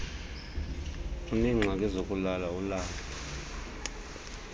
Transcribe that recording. uneengxaki zokulala ulala